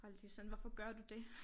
Og alle de sådan hvorfor gør du det